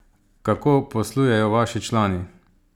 Kako poslujejo vaši člani?